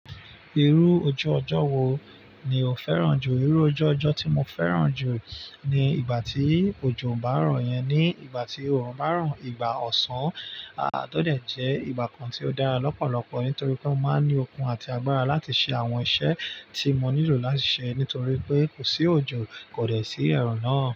Irú ojú ọjọ́ wo ni o fẹ́ràn jù? Irú ojú ọjọ́ tí mo fẹ́ràn jù ni ìgbà tí òjò bá n ro yẹn. Ni ìgbà tí òòrùn bá ràn, ìgbà ọ̀sán, ah-- ti o dẹ́ jẹ́ ìgbà kan tí ó dára lọ́pọ̀lọpọ̀ nítorí pé ó máa ní okun àti agbára láti ṣe àwọn iṣẹ́ tí mo nílò láti ṣe nítorí pé kò sí òjò kòdè sí ẹ̀run náà.